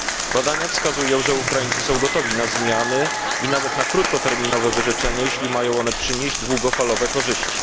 Badania wskazują, że Ukraińcy są gotowi na zmiany i nawet na krótkoterminowe wyrzeczenie, jeśli mają one przynieść długofalowe korzyści.